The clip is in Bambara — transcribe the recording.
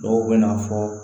Dɔw bɛ na fɔ